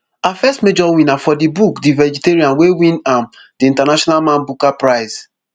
her first major win na for di book the vegetarian wey win am di international man booker prize